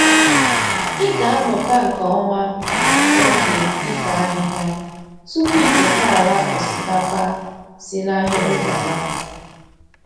Ị ga-amụta nke oma oge ifo ahịhịa tupu I keta ala osikapa si n’ahịrị Baba.